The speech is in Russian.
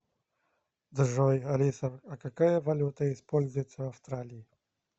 джой алиса а какая валюта используется в австралии